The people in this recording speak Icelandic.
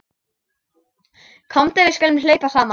Komdu við skulum hlaupa saman.